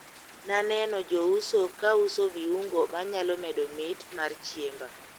Naneno jouso kauso viungo manyalo medo mit mar chiemba.